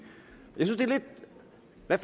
jeg